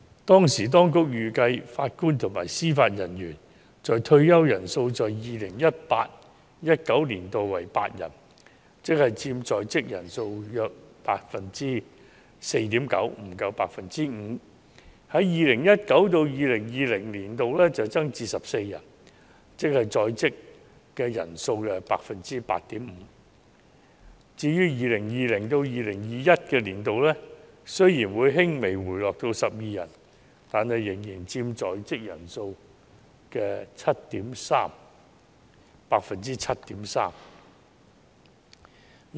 當時當局預計，法官及司法人員退休人數在 2018-2019 年度為8人，佔在職人數約 4.9%， 不足 5%； 在 2019-2020 年度會增至14人，佔在職人數 8.5%； 至於 2020-2021 年度，雖然會輕微回落至12人，但仍佔在職人數 7.3%。